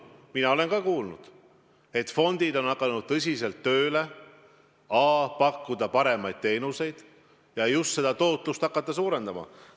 Mina olen ka kuulnud, et fondid on hakanud tõsiselt tööle, et a) pakkuda paremaid teenuseid ja b) just tootlust hakata suurendama.